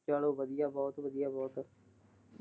ਚਲੋ ਵਧੀਆ ਬਹੁਤ ਵਧੀਆ, ਬਹੁਤ।